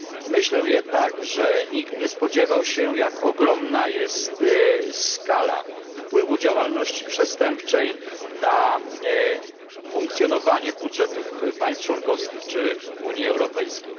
Myślę jednak, że nikt nie spodziewał się, jak ogromna jest skala wpływu działalności przestępczej na funkcjonowanie budżetów państw członkowskich czy Unii Europejskiej.